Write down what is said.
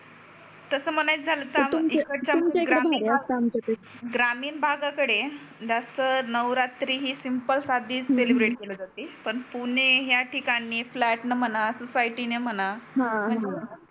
तस म्हणायच झाल तर तुमच्या कडे भारी असत आमच्या पेक्षा इकडच्या पेक्षा ग्रामीण भागा कडे जास्त नवरात्रि ही सिम्पल साधी सेलेब्रेट केली जाते हम्म पण पुणे हया ठिकाणी फ्लॅट म्हणा सोसायटी म्हणा हा हा